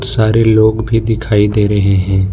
सारे लोग भी दिखाई दे रहे हैं।